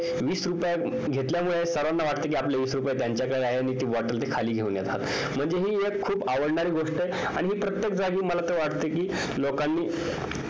वीस रुपये घेतल्यामुळे सर्वाना वाटत कि आपले वीस रुपये त्यांच्याकडे आहेत आणि ते ती bottle खाली घेऊन येतात म्हणजे हि एक आवडणारी गोष्ट आहे आणि हि प्रत्येक जागी मला तर वाटत कि लोकांनी